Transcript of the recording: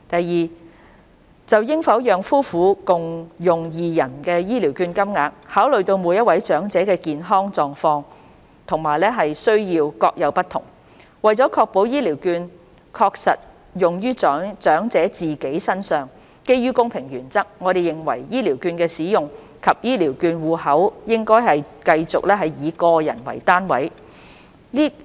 二就應否讓夫婦共用二人的醫療券金額，考慮到每位長者的健康狀況和需要各有不同，為了確保醫療券確實用於長者自己身上，基於公平原則，我們認為醫療券的使用及醫療券戶口應繼續以個人為單位。